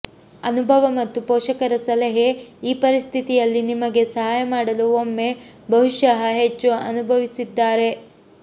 ಅನುಭವ ಮತ್ತು ಪೋಷಕರ ಸಲಹೆ ಈ ಪರಿಸ್ಥಿತಿಯಲ್ಲಿ ನಿಮಗೆ ಸಹಾಯ ಮಾಡಲು ಒಮ್ಮೆ ಬಹುಶಃ ಹೆಚ್ಚು ಅನುಭವಿಸಿದ್ದಾರೆ